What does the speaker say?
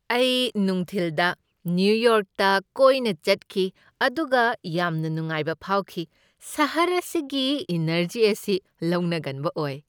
ꯑꯩ ꯅꯨꯡꯊꯤꯜꯗ ꯅ꯭ꯌꯨ ꯌꯣꯔꯛꯇ ꯀꯣꯏꯅ ꯆꯠꯈꯤ ꯑꯗꯨꯒ ꯌꯥꯝꯅ ꯅꯨꯡꯉꯥꯏꯕ ꯐꯥꯎꯈꯤ꯫ ꯁꯍꯔ ꯑꯁꯤꯒꯤ ꯏꯅꯔꯖꯤ ꯑꯁꯤ ꯂꯧꯅꯒꯟꯕ ꯑꯣꯏ꯫